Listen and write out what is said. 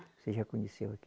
Você já conheceu aqui.